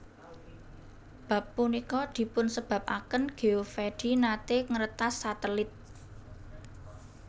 Bab punika dipunsebabaken Geovedi nate ngretas satelit